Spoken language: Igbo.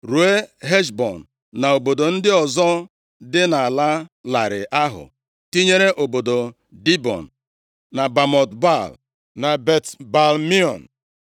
ruo Heshbọn, na obodo ndị ọzọ dị nʼala larịị ahụ, tinyere obodo Dibọn, na Bamot Baal, na Bet-Baal-Meon,